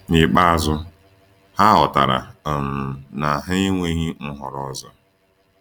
N’ikpeazụ, ha ghọtara um na ha enweghị nhọrọ ọzọ.